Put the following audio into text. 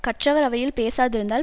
கற்றவர் அவையில் பேசாதிருந்தால்